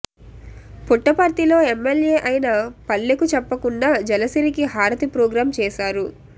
పుట్టపర్తిలో ఎమ్మెల్యే అయిన పల్లెకు చెప్పకుండా జలసిరికి హారతి ప్రోగ్రామ్ చేశారు